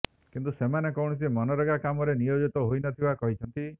କିନ୍ତୁ ସେମାନେ କୌଣସି ମନରେଗା କାମରେ ନିୟୋଜିତ ହୋଇନଥିବା କହିଛନ୍ତି